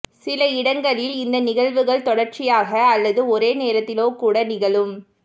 சில இடங்களில் இந்த நிகழ்வுகள் தொடச்சியாக அல்லது ஒரே நேரத்திலோகூட நிகழும்